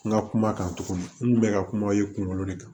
N ka kuma kan tuguni n kun bɛ ka kuma aw ye kunkolo de kan